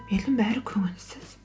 елдің бәрі көңілсіз